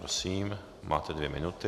Prosím, máte dvě minuty.